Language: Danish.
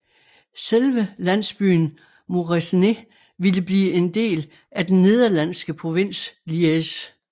Selve landsbyen Moresnet ville blive en del af den nederlandske provins Liège